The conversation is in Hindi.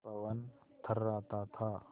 पवन थर्राता था